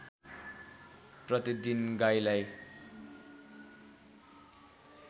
प्रतिदिन गाईलाई